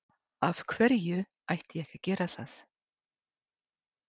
Af hverju ætti ég ekki að gera það?